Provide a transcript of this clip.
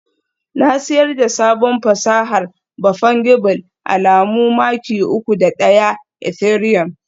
Na siyar da sabon fasahar ba Fungible alamu maki uku da ɗaya Ethereum